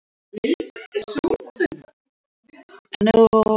Blóðið lagaði úr höfði hans.